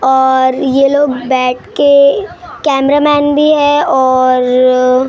और ये लोग बैठ के कैमरामैन भी है और--